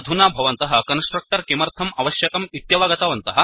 अधुना भवन्तः कन्स्ट्रक्टर् किमर्थम् अवश्यकम् इत्यवगतवन्तः